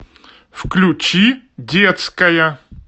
включи детская